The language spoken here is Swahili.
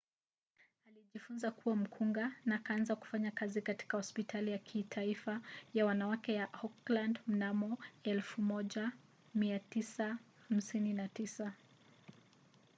alijifunza kuwa mkunga na akaanza kufanya kazi katika hospitali ya kitaifa ya wanawake ya auckland mnamo 1959